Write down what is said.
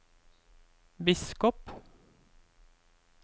biskop